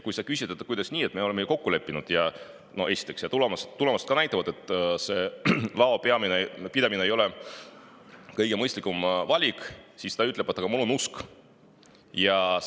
Kui sa küsid, kuidas nii, me leppisime ju kokku ja ka tulemused näitavad, et see lao pidamine ei ole kõige mõistlikum valik, siis ütleb: "Aga mul on usk.